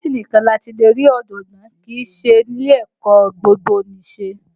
Fásitì nìkan ni a ti lè rí ọ̀jọ̀gbọ́n, kì í sí ní ilé ẹ̀kọ́ gbogbonise